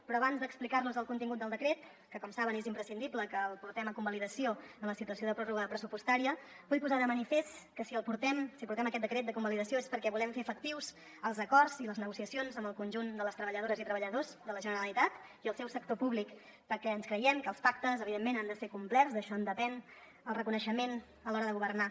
però abans d’explicarlos el contingut del decret que com saben és imprescindible que el portem a convalidació en la situació de pròrroga pressupostària vull posar de manifest que si l’hi portem si portem aquest decret a convalidació és perquè volem fer efectius els acords i les negociacions amb el conjunt de les treballadores i treballadors de la generalitat i el seu sector públic perquè ens creiem que els pactes evidentment han de ser complerts d’això en depèn el reconeixement a l’hora de governar